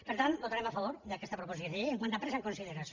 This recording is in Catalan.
per tant votarem a favor d’aquesta proposició de llei quant a la presa en consideració